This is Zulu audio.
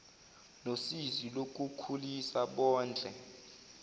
nosizi lokukhulisa bondle